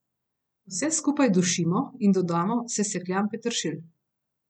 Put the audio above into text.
Vse skupaj dušimo in dodamo sesekljan peteršilj.